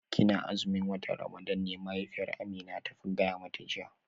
Kina azumin watan Ramadan ne mahaifiyar Amina ta gaya mata jiya